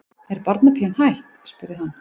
Er barnapían hætt? spurði hann.